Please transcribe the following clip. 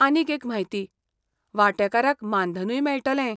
आनीक एक म्हायती, वांटेकारांक मानधनूय मेळटलें.